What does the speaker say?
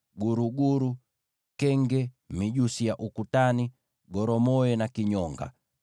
guruguru, kenge, mijusi ya ukutani, goromoe na kinyonga.